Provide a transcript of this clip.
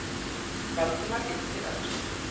Valdimar yppti öxlum.